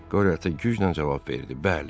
Qore ata güclə cavab verdi: Bəli.